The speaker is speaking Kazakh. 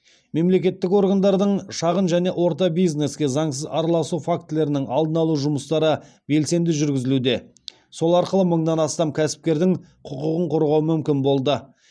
мемлекеттік органдардың шағын және орта бизнеске заңсыз араласу фактілерінің алдын алу жұмыстары белсенді жүргізілуде сол арқылы мыңнан астам кәсіпкердің құқығын қорғау мүмкін болды